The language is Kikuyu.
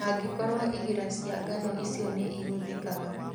angĩkorwo igira cia ngano icio nĩihũthĩkaga